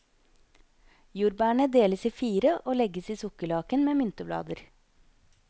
Jordbærene deles i fire og legges i sukkerlaken med mynteblader.